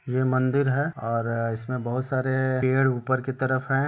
ये मंदिर है और इसमें बहुत सारे पेड़ ऊपर की तरफ हैं।